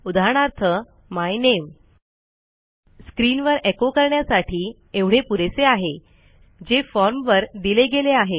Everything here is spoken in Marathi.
उदाहरणार्थ माय नामे स्क्रीनवर एको करण्यासाठी एवढे पुरेसे आहे जे फॉर्मवर दिले गेले आहे